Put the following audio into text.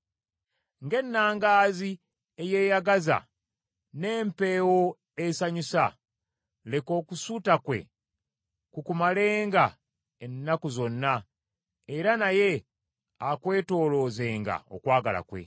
Ng’ennangaazi eyeeyagaza n’empeewo esanyusa, leka okusuuta kwe kukumalenga ennaku zonna era naye akwetoloozenga okwagala kwe.